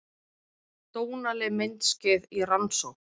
Dónaleg myndskeið í rannsókn